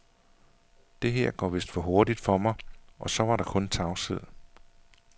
Det her går vist for hurtigt for mig og så var der kun tavshed.